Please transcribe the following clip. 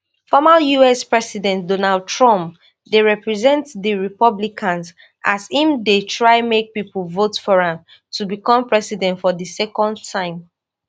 former us president donald trump dey represent di republicans as im dey try make pipo vote for am to become president for di second time